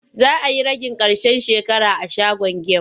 Za a yi ragin ƙarshen shekara a shagon gem.